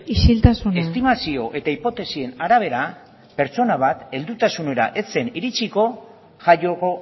isiltasuna estimazio eta hipotesien arabera pertsona bat heldutasunera heltzen iritsiko jaioko